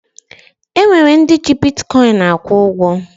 E nwere ndị ji bitkọyịn akwụ ụgwọ